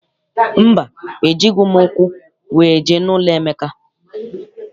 Mba, ejighị m ụkwụ wee jee n'ụlọ Emeka.